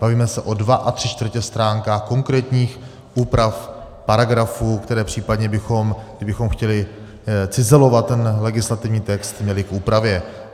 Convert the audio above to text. Bavíme se o dvou a tři čtvrtě stránkách konkrétních úprav paragrafů, které případně bychom, kdybychom chtěli cizelovat ten legislativní text, měli k úpravě.